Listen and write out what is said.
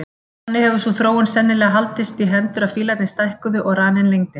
Þannig hefur sú þróun sennilega haldist í hendur að fílarnir stækkuðu og raninn lengdist.